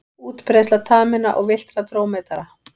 Útbreiðsla taminna og villtra drómedara.